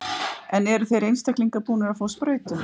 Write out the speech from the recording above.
En eru þeir einstaklingar búnir að fá sprautu?